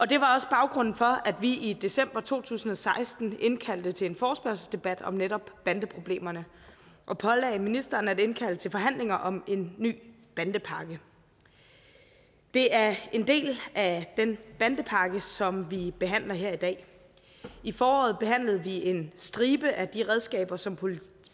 det var også baggrunden for at vi i december to tusind og seksten indkaldte til en forespørgselsdebat om netop bandeproblemerne og pålagde ministeren at indkalde til forhandlinger om en ny bandepakke det er en del af den bandepakke som vi behandler her i dag i foråret behandlede vi en stribe af de redskaber som politiet